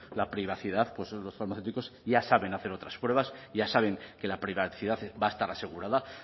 la privacidad pues los farmacéuticos ya saben hacer otras pruebas ya saben que la privacidad va a estar asegurada